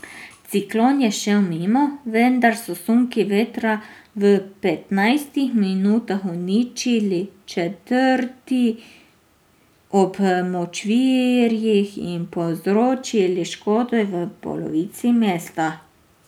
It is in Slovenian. Ciklon je šel mimo, vendar so sunki vetra v petnajstih minutah uničili četrti ob močvirjih in povzročili škodo v polovici mesta.